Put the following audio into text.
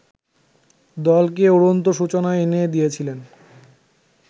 দলকে উড়ন্ত সূচনা এনে দিয়েছিলেন